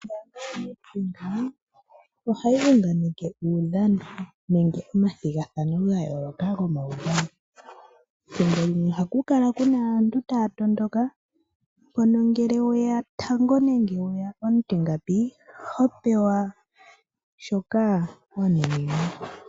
Ombaanga yoFNB ohayi unganeke uudhano nenge omathigathano ga yooloka gomaudhano, ethimbo limwe ohaku kala kuna aantu taya tondoka pono ngele weya tango nenge weya omutingapi hopewa shoka wa nuninwa.